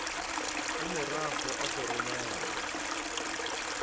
a morago ga go romelwa